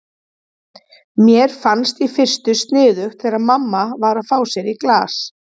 Mér fannst í fyrstu sniðugt þegar mamma var að fá sér í glas.